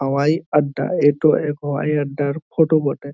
হাওয়াই আড্ডা এতো এ হাওয়াই আড্ডার ফটো বটে।